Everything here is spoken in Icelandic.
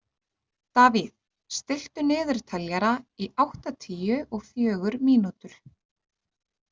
Davíð, stilltu niðurteljara í áttatíu og fjögur mínútur.